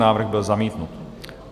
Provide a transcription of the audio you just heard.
Návrh byl zamítnut.